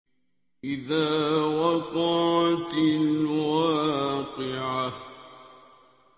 إِذَا وَقَعَتِ الْوَاقِعَةُ